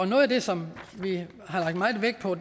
noget af det som vi har lagt meget vægt på